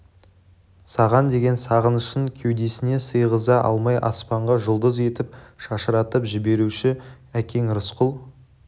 саған деген сағынышын кеудесіне сиғыза алмай аспанға жұлдыз етіп шашыратып жіберуші әкең рысқұл